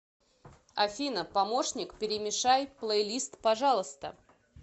афина помощник перемешай плейлист пожалуйста